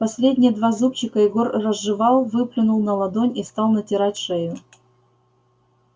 последние два зубчика егор разжевал выплюнул на ладонь и стал натирать шею